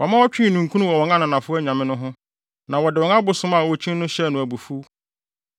Wɔma ɔtwee ninkunu wɔ wɔn ananafo anyame no ho na wɔde wɔn abosom a okyi no hyɛɛ no abufuw.